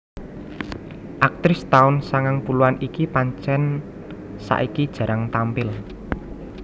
Aktris taun sangang puluhan iki pancen saiki jarang tampil